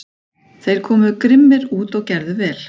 Þeir komu grimmir út og gerðu vel.